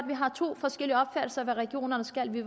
vi har to forskellige opfattelser af hvad regionerne skal vi